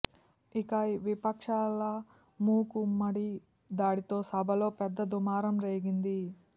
ఇక విపక్షాల మూకు మ్మడి దాడితో సభలో పెద్ద దుమారం రేగింది